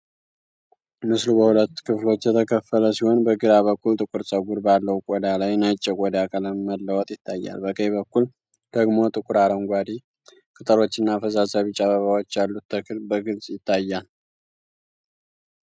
ምስሉ በሁለት ክፍሎች የተከፈለ ሲሆን፣ በግራ በኩል ጥቁር ፀጉር ባለው ቆዳ ላይ ነጭ የቆዳ ቀለም መለወጥ ይታያል። በቀኝ በኩል ደግሞ ጥቁር አረንጓዴ ቅጠሎችና ፈዛዛ ቢጫ አበባዎች ያሉት ተክል በግልጽ ይታያል።